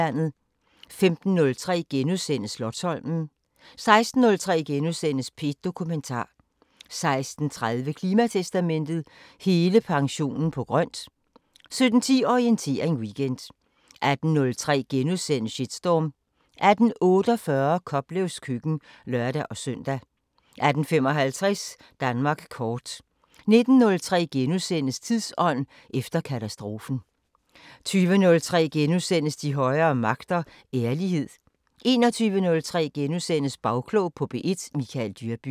15:03: Slotsholmen * 16:03: P1 Dokumentar * 16:30: Klimatestamentet: Hele pensionen på grøn! 17:10: Orientering Weekend 18:03: Shitstorm * 18:48: Koplevs køkken (lør-søn) 18:55: Danmark kort 19:03: Tidsånd – efter katastrofen * 20:03: De højere magter: Ærlighed * 21:03: Bagklog på P1: Michael Dyrby *